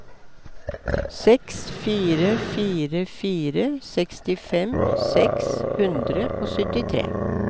seks fire fire fire sekstifem seks hundre og syttitre